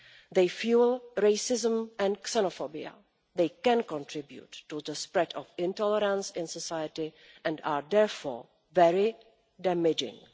They fuel racism and xenophobia, they can contribute to the spread of intolerance in society and they are therefore very damaging.